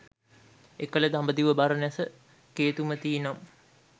එකල දඹදිව බරණැස කේතුමති නම්